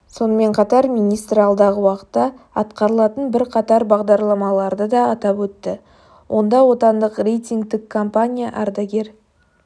сонымен қатар министр алдағы уақытта атқарылатын бірқатар бағдарламаларды да атап өтті онда отандық рейтингтік компания ардагер